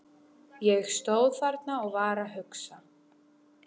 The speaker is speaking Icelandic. Ég stóð þarna og var að hugsa.